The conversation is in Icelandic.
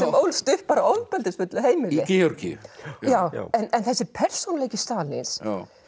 ólst upp á ofbeldisfullu heimili í Georgíu já já en þessi persónuleiki Stalíns